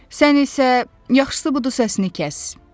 Sən isə yaxşısı budur səssiz kəs.